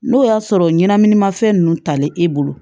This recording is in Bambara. N'o y'a sɔrɔ ɲɛnaminima fɛn ninnu talen e bolo